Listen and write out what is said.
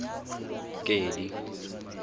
kedi